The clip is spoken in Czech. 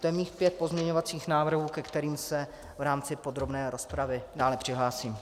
To je mých pět pozměňovacích návrhů, ke kterým se v rámci podrobné rozpravy dále přihlásím.